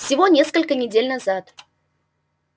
всего несколько недель назад